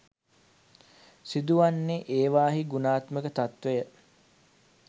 සිදුවන්නේ ඒවායෙහි ගුණාත්මක තත්වය